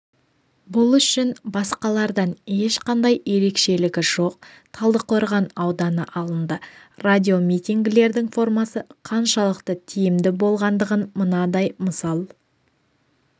бұл үшін басқалардан ешқандай ерекшелігі жоқ талдықорған ауданы алынды радиомитингілердің формасы қаншалықты тиімді болғандығын мынадай мысал